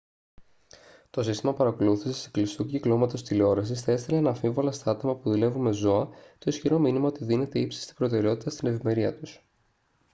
«το σύστημα παρακολούθησης κλειστού κυκλώματος τηλεόρασης θα έστελνε αναμφίβολα στα άτομα που δουλεύουν με ζώα το ισχυρό μήνυμα ότι δίνεται ύψιστη προτεραιότητα στην ευημερία τους»